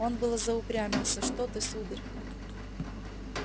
он было заупрямился что ты сударь